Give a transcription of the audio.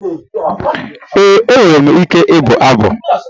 Ee, enwere m ike ịbụ abụ.